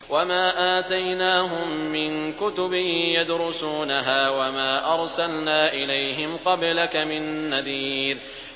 وَمَا آتَيْنَاهُم مِّن كُتُبٍ يَدْرُسُونَهَا ۖ وَمَا أَرْسَلْنَا إِلَيْهِمْ قَبْلَكَ مِن نَّذِيرٍ